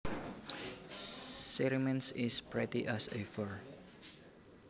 She remains is pretty as ever